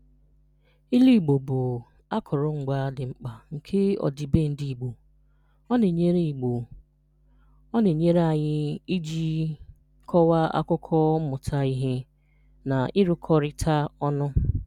Ilu Igbo bụ akụrụngwa dị mkpa nke ọdịbendị Igbo. Ọ na-enyere Igbo. Ọ na-enyere anyị iji kọwaa akụkọ, mmụta ihe, na ịrụkọrita ọnụ.